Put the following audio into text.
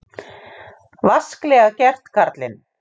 Vasklega gert, karlinn!